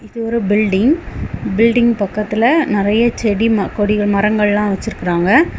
இது ஒரு building . Building பக்கத்துல நிறைய செடி ம கொடி மரங்கள் எல்லாம் வெச்சிருக்காங்க.